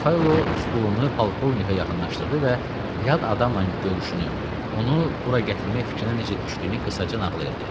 Mixaylo stolunu polkovnikə yaxınlaşdırdı və yad adamla görüşünü, onu bura gətirmək fikrinə necə düşdüyünü qısaca nağıl elədi.